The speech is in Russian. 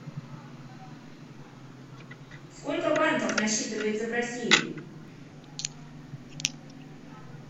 сколько банков насчитывается в россии